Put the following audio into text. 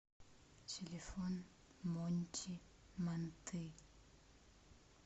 телефон монти манты